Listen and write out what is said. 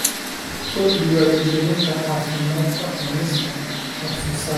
Kordhi Wacyigelinta Caafimaadka Cunista wax soo saarka.